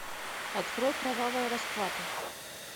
открой кровавая расплата